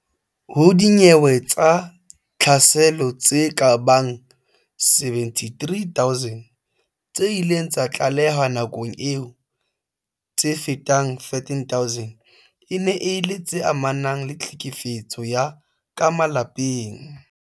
Ho dinyewe tsa tlhaselo tse kabang 73 000 tse ileng tsa tlalehwa nakong eo, tse fetang 13000 e ne e le tse amanang le tlhekefetso ya ka malapeng.